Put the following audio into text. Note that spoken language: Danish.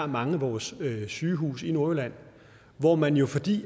mange af vores sygehuse i nordjylland hvor man jo fordi